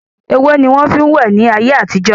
Ewé ni wọn fin wẹ ni ayé àtijọ́